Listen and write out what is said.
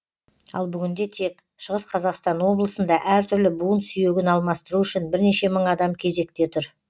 ал бүгінде тек шығыс қазақстан облысында әртүрлі буын сүйегін алмастыру үшін бірнеше мың адам кезекте тұр